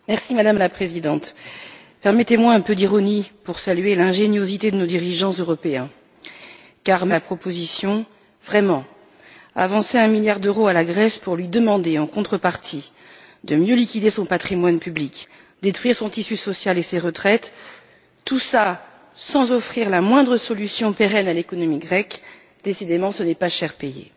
Madame la Présidente, permettez moi un peu d'ironie pour saluer l'ingéniosité de nos dirigeants européens, car même si je soutiens la proposition, vraiment, avancer un milliard d'euros à la Grèce, pour lui demander en contrepartie de mieux liquider son patrimoine public et de détruire son tissu social et ses retraites, tout cela sans offrir la moindre solution pérenne à l'économie grecque, décidément ce n'est pas cher payé.